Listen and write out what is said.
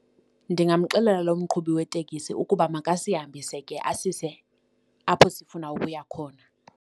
Ndingamxelela loo mqhubi wetekisi ukuba makasihambise ke asise apho sifuna ukuya khona.